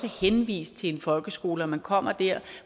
henvist til folkeskolen og at man kommer der